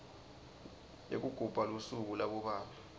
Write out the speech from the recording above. yekugubha lusuku labobabe